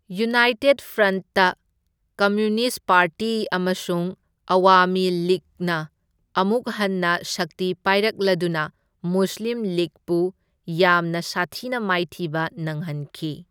United front, communist party ꯑꯃꯁꯨꯡ ꯑꯋꯥꯃꯤ ꯂꯤꯒꯅ ꯑꯃꯨꯛ ꯍꯟꯅ ꯁꯛꯇꯤ ꯄꯥꯏꯔꯛꯂꯗꯨꯅ ꯃꯨꯁꯂꯤꯝ ꯂꯤꯒꯄꯨ ꯌꯥꯝꯅ ꯁꯥꯊꯤꯅ ꯃꯥꯏꯊꯤꯕ ꯅꯪꯍꯟꯈꯤ꯫